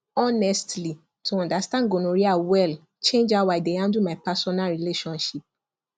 honestly to understand gonorrhea well change how i dey handle my personal relationship